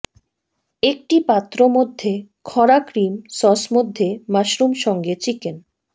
একটি পাত্র মধ্যে খরা ক্রিম সস মধ্যে মাশরুম সঙ্গে চিকেন